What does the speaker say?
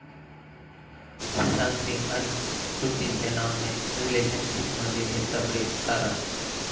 सुशांत सिंग आणि कृती सेनाॅननं रिलेशनशिपमध्ये घेतला ब्रेक, कारण...